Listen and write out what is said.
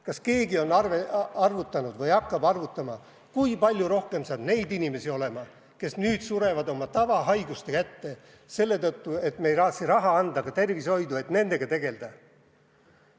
Kas keegi on arvutanud või hakkab arvutama, kui palju rohkem saab neid inimesi olema nüüd, kui nad surevad oma nn tavahaiguste kätte selle tõttu, et me ei anna tervishoidu raha, et nendega ka tegelda.